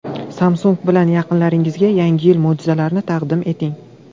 Samsung bilan yaqinlaringizga Yangi yil mo‘jizalarini taqdim eting.